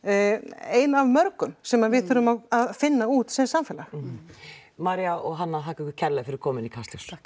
ein af mörgum sem að við þurfum að finna út sem samfélag María og Hanna þakka ykkur kærlega fyrir komuna í Kastljós takk